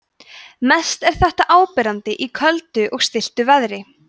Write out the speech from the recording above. mest er þetta áberandi í köldu og stilltu veðri